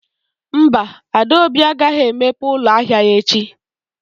Mba, Adaobi agaghị emepe ụlọ ahịa ya echi